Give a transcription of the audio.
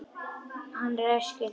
Hann ræskir sig.